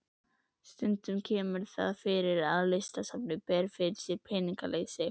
Stundum kemur það fyrir að Listasafnið ber fyrir sig peningaleysi.